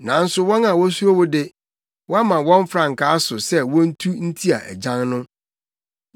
Nanso wɔn a wosuro wo de, woama wɔn frankaa so sɛ wontu ntia agyan no.